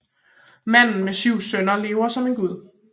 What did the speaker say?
Manden med syv sønner lever som en gud